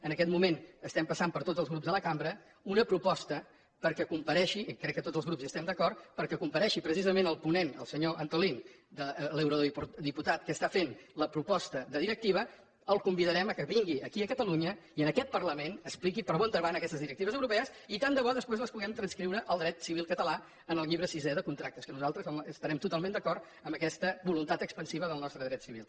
en aquest moment estem passant per tots els grups de la cambra una proposta perquè comparegui i crec que tots els grups hi estem d’acord precisament el ponent el senyor antolín l’eurodiputat que està fent la proposta de directiva el convidarem que vingui aquí a catalunya i en aquest parlament expliqui per on van aquestes directives europees i tant de bo després les puguem transcriure al dret civil català en el llibre sisè de contractes que nosaltres estarem totalment d’acord amb aquesta voluntat expansiva del nostre dret civil